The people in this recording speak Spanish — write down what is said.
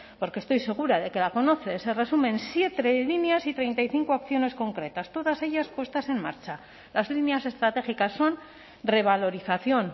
porque estoy segura de que la conoce se resumen en siete líneas y treinta y cinco acciones concretas todas ellas puestas en marcha las líneas estratégicas son revalorización